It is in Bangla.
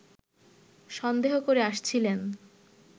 সন্দেহ করে আসছিলেন